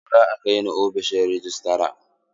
Zo ka kaini ofishin rejistra!